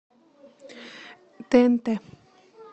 тнт